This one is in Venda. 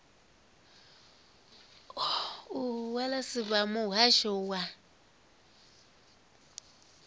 h wessels vha muhasho wa